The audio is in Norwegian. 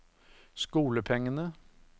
skolepengene